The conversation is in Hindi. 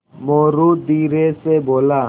मोरू धीरे से बोला